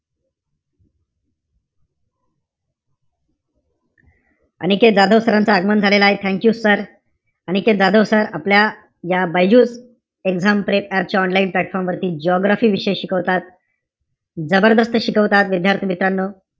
Aniket Jadhav sir च, आगमन झालेलंय. Thank you sir. Aniket Jadhav sir आपल्याला या BYJU'S exam prep चे online platform वरती geography विषय शिकवतात. जबरदस्त शिकवतात, विद्यार्थी-मित्रांनो.